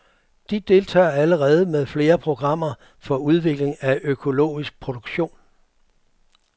De deltager allerede med flere programmer for udvikling af økologisk produktion.